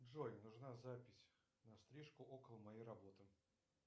джой нужна запись на стрижку около моей работы